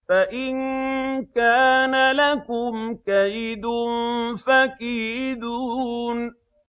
فَإِن كَانَ لَكُمْ كَيْدٌ فَكِيدُونِ